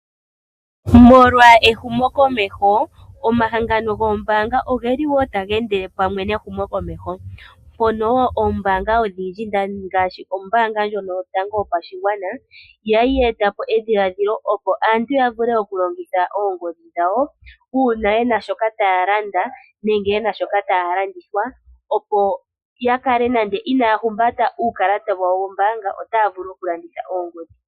Molwa ehumokomeho omahangano goombaanga oge li woo taga endele pamwe nehumo komeho, pono oombaanga odhindji ngaashi ombaanga ndjono yotango yopashigwana yali yeetapo edhiladhilo opo aantu yavule oku longitha oongodhi dhawo uuna yena shoka taya landa, nenge yena shoka taya landithwa opo yakale nande inaya humbata uukalata wawo wombaanga otaa vulu okulanditha oongodhi.